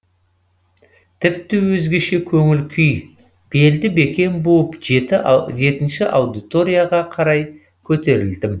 тіпті өзгеше көңіл күй белді бекем буып жеті аудиторияға қарай көтерілдім